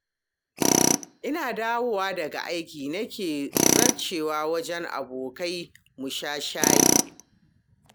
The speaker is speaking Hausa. Ina dawowa daga aiki nake zarcewa wajen abokai mu sha shayi